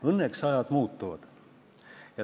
Õnneks ajad muutuvad.